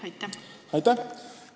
Aitäh!